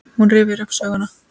Hún rifjar upp söguna.